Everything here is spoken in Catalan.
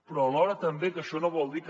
però alhora tampoc això no vol dir que